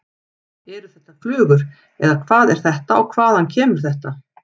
Eru þetta flugur eða hvað er þetta og hvaðan kemur þetta?